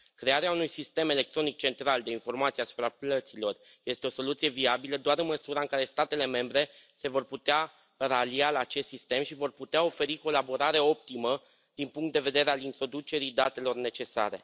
Crearea unui sistem electronic central de informații asupra plăților este o soluție viabilă doar în măsura în care statele membre se vor putea ralia la acest sistem și vor putea oferi colaborare optimă din punct de vedere al introducerii datelor necesare.